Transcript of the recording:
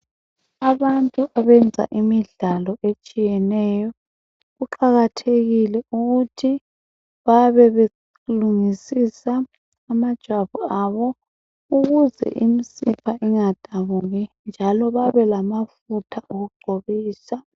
Abantu abenza imidlalo etshiyeneyo kuqakathekile ukuthi babe belungisisa amajwabu abo ukuze imisipha ingadabuki njalo babe lamafutha okugcobisa.